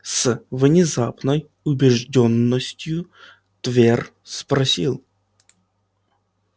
с внезапной убеждённостью твер спросил